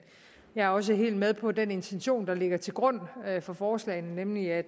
jeg er også helt med på den intention der ligger til grund for forslagene nemlig at